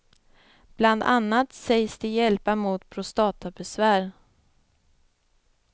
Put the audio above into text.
Bland annat sägs de hjälpa mot prostatabesvär.